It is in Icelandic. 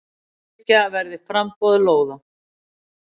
Tryggja verði framboð lóða.